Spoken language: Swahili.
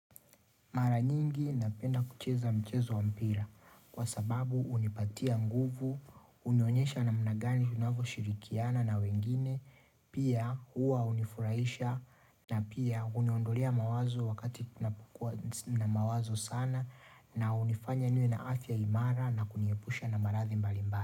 Mara nyingi napenda kucheza mchezo wa mpira kwa sababu unipatia nguvu, unaonyesha namna gani unavyo shirikiana na wengine, pia hua unifuraisha na pia huniondolea mawazo wakati kunapokua na mawazo sana na unifanya niwe na afya imara na kuniepusha na marathi mbalimbali.